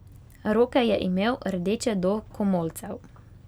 Roke je imel rdeče do komolcev.